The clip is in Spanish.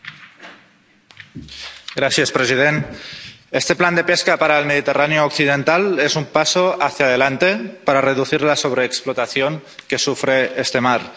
Señor presidente, este plan de pesca para el Mediterráneo occidental es un paso hacia adelante para reducir la sobreexplotación que sufre este mar.